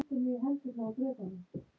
Magnús: Góð stemning á staðnum?